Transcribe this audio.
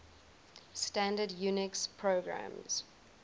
standard unix programs